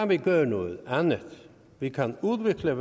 vi gøre noget andet vi kan udvikle